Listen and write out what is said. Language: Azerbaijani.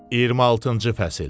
26-cı fəsil.